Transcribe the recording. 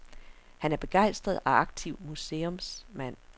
Han er begejstret og aktiv museumsmand.